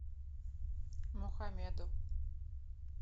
мухамеду